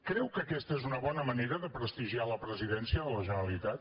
creu que aquesta és una bona manera de prestigiar la presidència de la generalitat